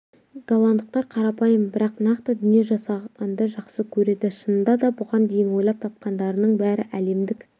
голландықтар қарапайым бірақ нақты дүние жасағанды жақсы көреді шынында да бұған дейін ойлап тапқандарының бәрі әлемдік